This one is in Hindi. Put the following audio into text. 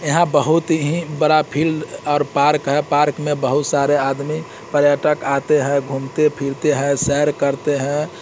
यहाँ बहुत ही बड़ा फिल्ड और पार्क है पार्क में बहुत सारे आदमी पर्यटक आते है घूमते फिरते है सैर करते है।